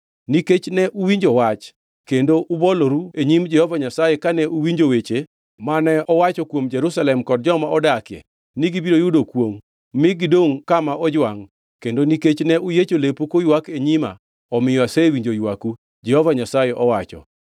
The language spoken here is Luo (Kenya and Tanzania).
Nikech ne uwinjo wach kendo uboloru e nyim Jehova Nyasaye kane uwinjo weche mane owacho kuom Jerusalem kod joma odakie ni gibiro yudo kwongʼ mi gidongʼ kama ojwangʼ, kendo nikech ne uyiecho lepu kuywak e nyima, omiyo asewinjo ywaku, Jehova Nyasaye owacho.